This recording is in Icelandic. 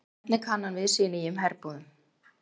Hvernig kann hann við sig í nýjum herbúðum?